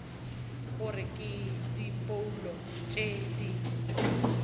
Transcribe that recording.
gore ke diphoulo tše di